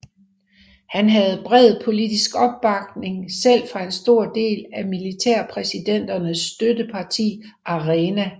Han havde bred politisk opbakning selv fra en stor del af militærpræsidenternes støtteparti ARENA